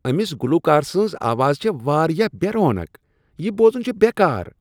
أمِس گلوکار سٕنٛز آواز چھےٚ واریاہ بےٚ رونق۔ یِہ بوزن چھ بےٚ کار۔